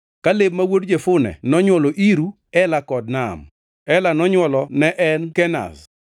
Kaleb ma wuod Jefune nonywolo: Iru, Ela kod Naam. Ela nonywolo ne en Kenaz.